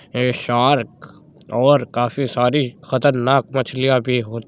एक शार्क और काफ़ी सारी खतरनाक मछलियां भी हो --